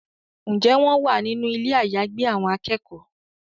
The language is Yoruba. Njé wón wá nínú Ilé àyágbé àwọn akẹ́kọ̀ọ́?